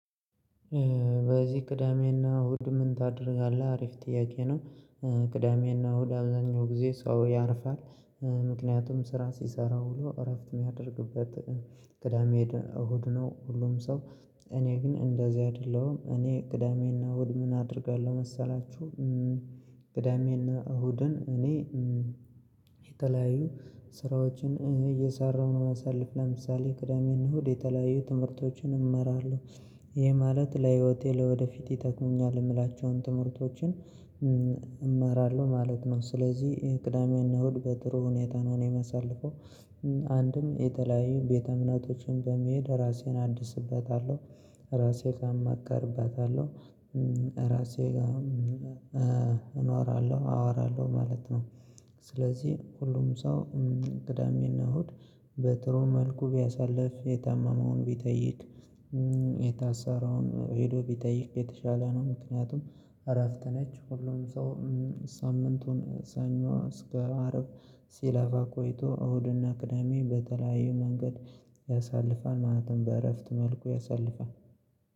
በዚህ ቅዳሜና እሁድ ምን ታደርጋለህ? አሪፍ ጥያቄ ነው። ቅዳሜና እሁድ አብዛኛው ጊዜ ሰው ያርፋል። ምክንያቱም ስራ ሲሰራውሎ እረፍት የሚያደርግበት። ቅዳሜ እሁድ ነው። ሁሉም ሰው እኔ ግን እንደዚያ አይደለሁም። እኔ ቅዳሜና እሁድ ምን አደርጋለሁ መሰላችሁ? ቅዳሜና እሁድን እኔ የተለያዩ ስራዎችን እየሰራሁ ነው። ማሳለፍ ለምሳሌ ቅዳሜ እና እሁድ የተለያዩ ትምህርቶችን እማራለሁ። ይህ ማለት ለህይወቴ ለወደፊት ይጠቅሙኛል የምላቸውን ትምህርቶችን እማራለሁ ማለት ነው። ስለዚህ ይሄ ቅዳሜ እና እሁድ በጥሩ ሁኔታ ነው የማሳልፈው። አንድም የተለያዩ ቤተ እምነቶችን በመሄድ ራሴን አድስበታለሁ። ራሴ ጋር ማከርበታለሁ። ራሴ ጋር እኖራለሁ አወራለሁ ማለት ነው። ስለዚህ ሁሉም ሰው ቅዳሜና እሁድ በጥሩ መልኩ ቢያሳልፍ የታመመውን ቢጠይቅ የታሰረውን ሄዶ ቢጠይቅ የተሻለ ነው። ምክንያቱም እረፍት ነች ሁሉም ሰው። ሳምንቱን ሰኞ እስከ አረብ ሲላፋ ቆይቶ እሁድና ቅዳሜ በተለያዩ መንገድ ያሳልፋል ማለትም በእረፍት መልኩ ያሳልፋል።